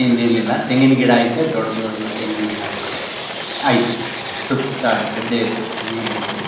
ಇನ್ನೇನಿಲ್ಲ ತೆಂಗಿನ ಗಿಡ ಐತೆ ದೊಡ್ದು ಅದು ತೆಂಗಿನ ಗಿಡಗಳು ಐತೆ ಸುತ್ತ ಗದ್ದೆಯ ಸುತ್ತ ನೇ ಐತೆ.